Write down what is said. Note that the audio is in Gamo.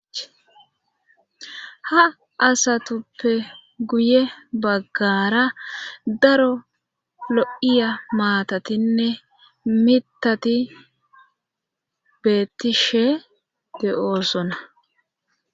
ha asatuppe guye baggara daro lo7iya maatatinne mitati beettishe de7oosona